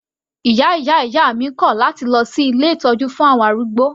Ìyá ìyá ìyá mi kò láti lọ sí ilé ìtọ́jú fún àwọn arúgbó.